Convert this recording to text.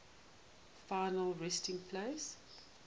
final resting place